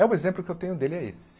É o exemplo que eu tenho dele é esse.